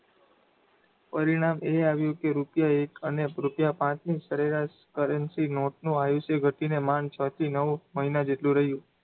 પરિણામ એ આવ કે રૂપિયા એક અને રૂપિયા પાંચની સરેરાશ currency note નું આયુષ્ય ઘટીને માંડ છ થી નવ મહિના જેટલું રહ્યું